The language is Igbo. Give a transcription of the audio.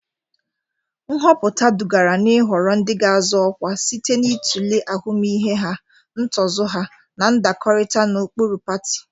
Nhọpụta dugara n'ịhọrọ ndị ga-azọ ọkwa site n'ịtụle ahụmịhe ha, ntozu ha, na ndakọrịta na ụkpụrụ pati.